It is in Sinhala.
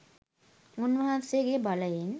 උන්වන්සේගේ බලයෙන්